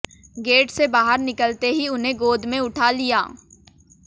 gate से बाहर निकलते ही उन्हें गोद में उठा लिया